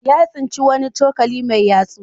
Ya tsinci wani cokali mai yatsu.